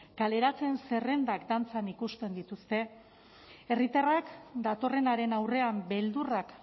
kaleratze zerrendak dantzan ikusten dituzte herritarrak datorrenaren aurrean beldurrak